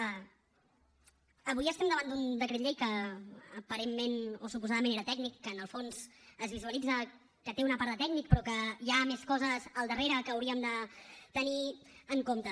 avui estem davant d’un decret llei que aparentment o suposadament era tècnic en què en el fons es visualitza que té una part de tècnic però que hi ha més coses al darrere que hauríem de tenir en compte